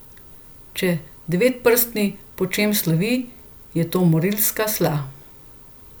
Če Devetprsti po čem slovi, je to morilska sla.